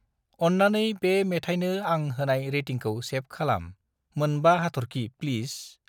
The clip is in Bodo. अन्नानै बे मेथायनो आं होनाय रेटिंखौ सेभ खालाम। मोनबा हाथरखि प्लिस।